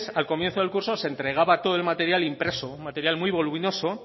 al comienzo del curso se entregaba todo el material impreso un material muy voluminoso